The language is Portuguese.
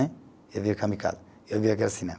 Eu vi o kamikaze, eu vi aquele cinema.